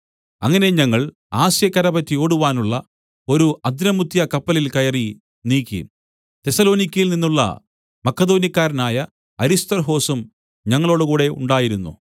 അങ്ങനെ ഞങ്ങൾ ആസ്യക്കര പറ്റി ഓടുവാനുള്ള ഒരു അദ്രമുത്ത്യകപ്പലിൽ കയറി നീക്കി തെസ്സലോനിക്യയിൽ നിന്നുള്ള മക്കെദോന്യക്കാരനായ അരിസ്തർഹൊസും ഞങ്ങളോടുകൂടെ ഉണ്ടായിരുന്നു